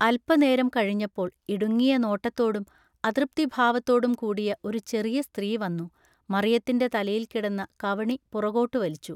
അല്പനേരം കഴിഞ്ഞപ്പോൾ ഇടുങ്ങിയ നോട്ടത്തോടും അതൃപ്തിഭാവത്തോടും കൂടിയ ഒരു ചെറിയ സ്ത്രീ വന്നു മറിയത്തിന്റെ തലയിൽ കിടന്ന കവണി പുറകോട്ടു വലിച്ചു.